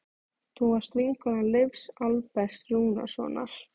Þú varst vinkona Leifs Alberts Rúnarssonar.